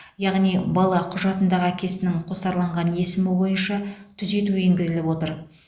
яғни бала құжатындағы әкесінің қосарланған есімі бойынша түзету енгізіліп отыр